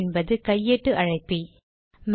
man என்பது கையேட்டு அழைப்பி